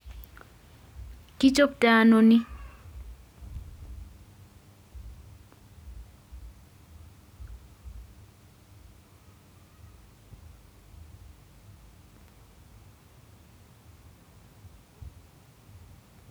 Kichoptoi ano ni